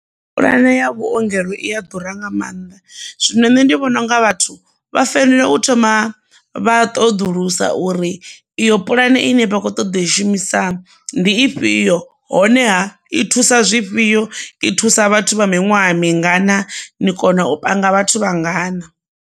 Pulane ya vhuongelo i a ḓura nga maanḓa zwino nṋe ndi vhona unga vhathu vha fanela u thoma vha ṱoḓulusa uri iyo puḽane ine vha khou ṱoḓa i shumisa ndi ifhio honeha i thusa zwifhio i thusa vhathu vha miṅwaha mingana ni kona u panga vhathu vhangana.